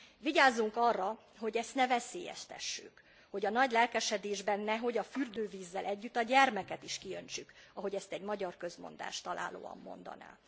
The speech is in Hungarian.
Vigyázzunk arra, hogy ezt ne veszélyeztessük, hogy a nagy lelkesedésben nehogy a fürdővízzel együtt a gyermeket is kiöntsük, ahogy ezt egy magyar közmondás találóan mondaná.